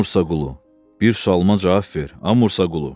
Amursa Qulu, bir sualıma cavab ver, Amursa Qulu.